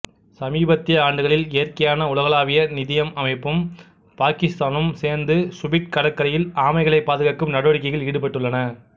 சமீபத்திய ஆண்டுகளில் இயற்கைக்கான உலகளாவிய நிதியம் அமைப்பும் பாக்கித்தானும் சேண்டுசுபிட் கடற்கரையில் ஆமைகளைப் பாதுகாக்கும் நடவடிக்கைகளில் ஈடுபட்டுள்ளன